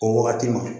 O wagati ma